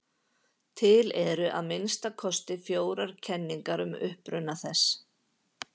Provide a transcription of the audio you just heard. Til eru að minnsta kosti fjórar kenningar um uppruna þess.